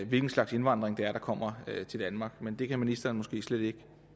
hvilken slags indvandring det er der kommer til danmark men det kan ministeren måske slet ikke